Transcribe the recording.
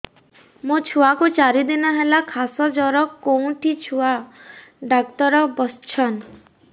ମୋ ଛୁଆ କୁ ଚାରି ଦିନ ହେଲା ଖାସ ଜର କେଉଁଠି ଛୁଆ ଡାକ୍ତର ଵସ୍ଛନ୍